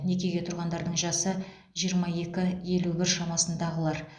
некеге тұрғандардың жасы жиырма екі елу бір шамасындағылар